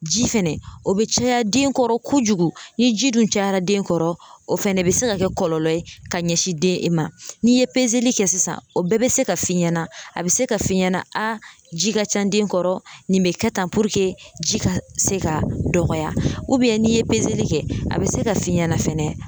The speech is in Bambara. Ji fɛnɛ o be caya den kɔrɔ kojugu, ni ji dun cayara den kɔrɔ o fɛnɛ be se ka kɛ kɔlɔlɔ ye ka ɲɛsin den ma, n'i ye kɛ sisan o bɛɛ be se ka f'i ɲɛna a be se ka f'i ɲɛna ji ka ca den kɔrɔ nin bɛ kɛ tan ji ka se ka dɔgɔya n'i ye kɛ a bɛ se ka f'i ɲɛna fɛnɛ